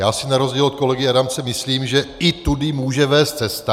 Já si na rozdíl od kolegy Adamce myslím, že i tudy může vést cesta.